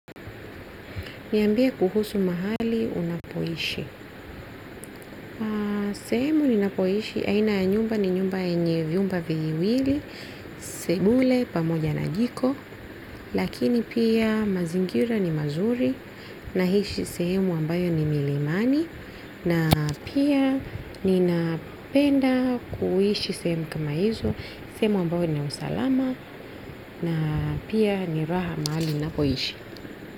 Niambie kuhusu mahali unapoishi. Sehemu ninapoishi. Aina ya nyumba ni nyumba yenye vyumba viwili. Sebule pamoja na jiko. Lakini pia mazingira ni mazuri. Naishi sehemu ambayo ni milimani. Na pia ninapenda kuishi sehemu kama hizo. Sehemu ambayo ni usalama. Na pia ni raha mahali unapoishi.